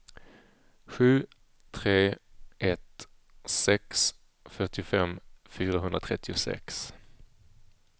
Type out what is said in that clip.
sju tre ett sex fyrtiofem fyrahundratrettiosex